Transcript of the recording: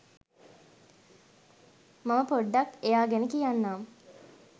මම පොඩ්ඩක් එයා ගැන කියන්නම්..